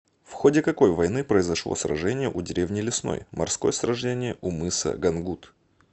в ходе какой войны произошло сражение у деревни лесной морское сражение у мыса гангут